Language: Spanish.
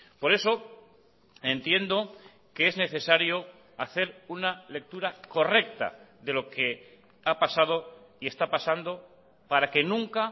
por eso entiendo que es necesario hacer una lectura correcta de lo que ha pasado y está pasando para que nunca